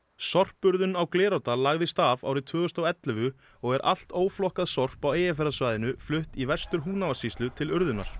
sorpurðun á Glerárdal lagðist af árið tvö þúsund og ellefu og er allt sorp á Eyjafjarðarsvæðinu flutt í Vestur Húnavatnssýslu til urðunar